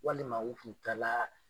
Walima u kun taala